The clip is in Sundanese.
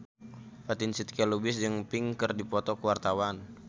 Fatin Shidqia Lubis jeung Pink keur dipoto ku wartawan